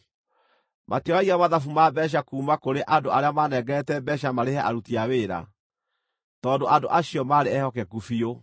Matioragia mathabu ma mbeeca kuuma kũrĩ andũ arĩa maanengerete mbeeca marĩhe aruti a wĩra, tondũ andũ acio maarĩ ehokeku biũ.